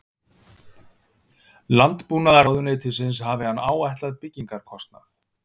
Landbúnaðarráðuneytisins hafi hann áætlað byggingarkostnað